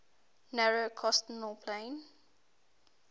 narrow coastal plain